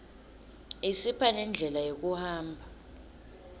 isipha nendlela yekuhamba